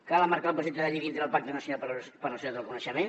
cal emmarcar el projecte de llei dintre del pacte nacional per a la societat del coneixement